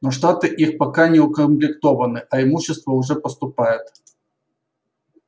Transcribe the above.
но штаты их пока не укомплектованы а имущество уже поступает